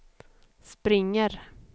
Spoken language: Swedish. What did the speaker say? springer